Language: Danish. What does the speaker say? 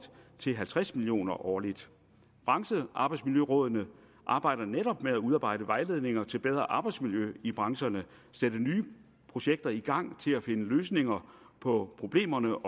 til halvtreds million kroner årligt branchearbejdsmiljørådene arbejder netop med at udarbejde vejledninger til bedre arbejdsmiljø i brancherne sætte nye projekter i gang til at finde løsninger på problemerne